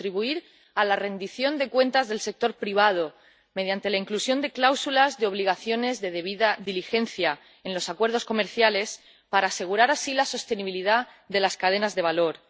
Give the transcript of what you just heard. contribuir a la rendición de cuentas del sector privado mediante la inclusión de cláusulas de obligaciones de debida diligencia en los acuerdos comerciales, para asegurar así la sostenibilidad de las cadenas de valor